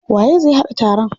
Waye zai haɗa taron?